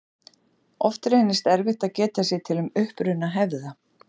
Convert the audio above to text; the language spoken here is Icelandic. Oft reynist erfitt að geta sér til um uppruna hefða.